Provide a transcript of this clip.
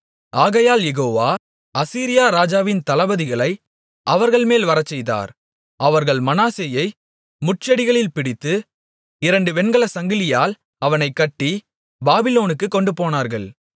ஆகையால் யெகோவா அசீரியா ராஜாவின் தளபதிகளை அவர்கள்மேல் வரச்செய்தார் அவர்கள் மனாசேயை முட்செடிகளில் பிடித்து இரண்டு வெண்கலச்சங்கிலியால் அவனைக் கட்டி பாபிலோனுக்குக் கொண்டுபோனார்கள்